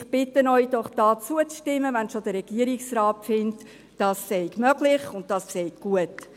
Ich bitte Sie doch, hier zuzustimmen, wenn schon der Regierungsrat findet, dies sei möglich und dies sei gut.